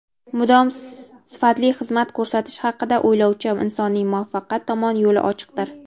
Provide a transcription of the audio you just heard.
Mudom sifatli xizmat ko‘rsatish haqida o‘ylovchi insonning muvaffaqiyat tomon yo‘li ochiqdir.